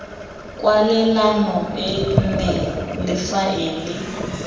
kwalelano e nne le faele